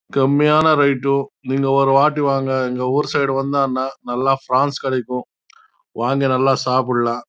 காமியான இன்னு ஒரு வாட்டி வாங்க ஊர் சைடு வந்த ந கிடைக்கும் நல்ல சப்படலாம்